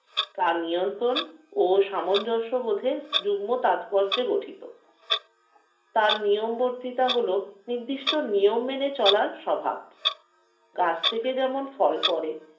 তা নিয়ন্ত্রণ ও সামঞ্জস্য বোধের যুগ্ন তাৎপর্যে গঠিত। তার নিয়ম বর্তিতা হল নির্দিষ্ট নিয়ম মেনে চলার স্বভাব। গাছ থেকে যেমন ফল পরে